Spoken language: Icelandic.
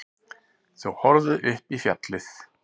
Þau horfðu upp í fjallið.